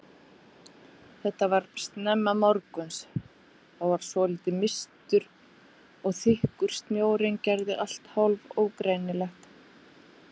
Þetta var snemma morguns, það var svolítið mistur og þykkur snjórinn gerði allt hálf ógreinilegt.